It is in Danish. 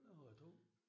Jeg har to